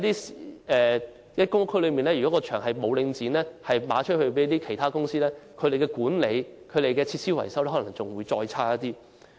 如果公共屋邨的場地被領展出售予其他公司，這些場地的管理和設施維修可能會變得更差。